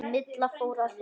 Milla fór að hlæja.